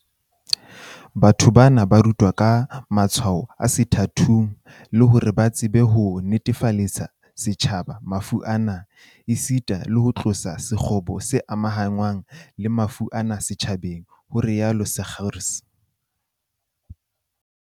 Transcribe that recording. "Batho bana ba rutwa ka matshwao a sethathong, le hore ba tsebe ho netefaletsa setjhaba mafu ana, esita le ho tlosa sekgobo se amahanngwang le mafu ana setjhabeng", ho rialo Seegers